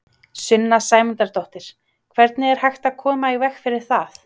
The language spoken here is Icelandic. Sunna Sæmundsdóttir: Hvernig er hægt að koma í veg fyrir það?